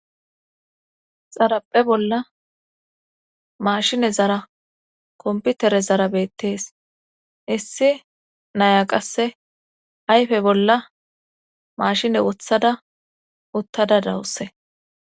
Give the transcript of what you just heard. xaraphphe bolla mashinezara komputerezara bettees issi naya qasse ayfe bolla maashine wothada uttada dawuse